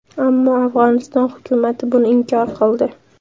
Ammo Afg‘oniston hukumati buni inkor qildi.